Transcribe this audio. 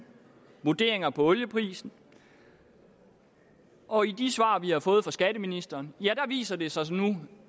vurderinger af olieprisen og i de svar vi har fået fra skatteministeren viser det sig nu